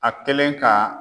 A kelen ka